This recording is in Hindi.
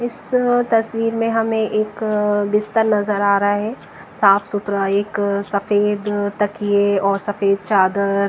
इस व तस्वीर में हमें एक अ बिस्तर नजर आ रहा है साफ सुथरा एक अ सफेद अ तकिए और सफेद चादर।